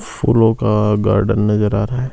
फूलों का गार्डन नजर आ रहा है।